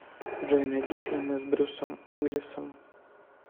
джой найди фильмы с брюсом уилисом